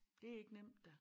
Det ikke nemt da